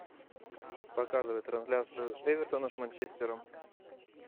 показывай трансляцию эвертона с манчестером